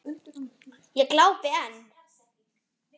Ég glápi enn.